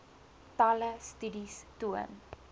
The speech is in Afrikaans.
talle studies toon